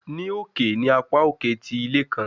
Ni oke ni apa oke ti ile kan